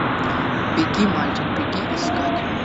беги мальчик беги искать